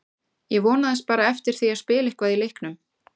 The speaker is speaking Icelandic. Ég vonaðist bara eftir því að spila eitthvað í leiknum.